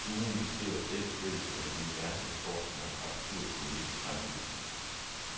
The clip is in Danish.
Duoen beskriver selv stykket som et univers af sort snak, absurd komik, sang og musik.